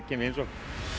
heimsókn